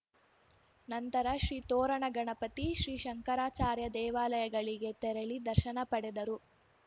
ನಂತರ ಶ್ರೀ ತೋರಣಗಣಪತಿ ಶ್ರೀ ಶಂಕರಾಚಾರ್ಯ ದೇವಾಲಯಗಳಿಗೆ ತೆರಳಿ ದರ್ಶನ ಪಡೆದರು